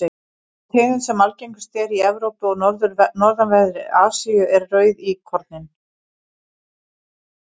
sú tegund sem algengust er í evrópu og norðanverðri asíu er rauðíkorninn